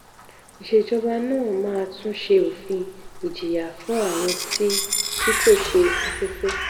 ìsèjọba náà máa tún ṣe òfin ìjìyà fún àwọn tí tí kò ṣe afẹ́fẹ́.